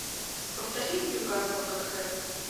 повтори ньюкасл тоттенхэм